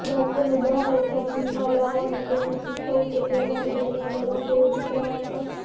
બાળકોને બહાર અથવા જિમમાં લાવો અને તેમને શીખવવું કે તેમના હૃદયના દરો કેવી રીતે માપવા